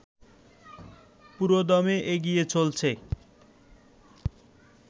পুরোদমে এগিয়ে চলছে